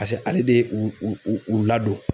hali bi u u ladon